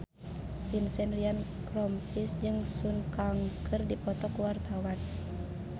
Vincent Ryan Rompies jeung Sun Kang keur dipoto ku wartawan